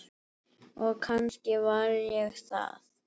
Og kannski var ég það.